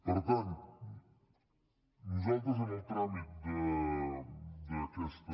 per tant nosaltres en el tràmit d’aquesta